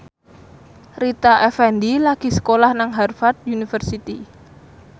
Rita Effendy lagi sekolah nang Harvard university